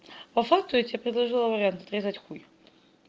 по факту я тебе предложила вариант отрезать хуй